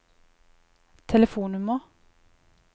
telefonnummer